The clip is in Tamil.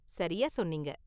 சரியா சொன்னீங்க.